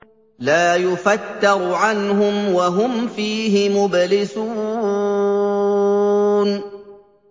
لَا يُفَتَّرُ عَنْهُمْ وَهُمْ فِيهِ مُبْلِسُونَ